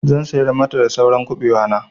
Zan sayar mata da saura kuɓewa na.